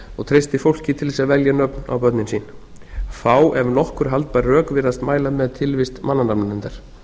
og treystið fólki til þess að velja nöfn á börnin sín fá ef nokkur haldbær rök virðast mæla með tilvist mannanafnanefndar